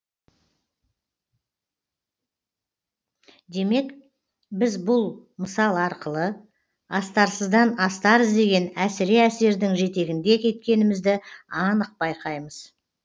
демек біз бұл мысал арқылы астарсыздан астар іздеген әсіре әсердің жетегінде кеткенімізді анық байқаймыз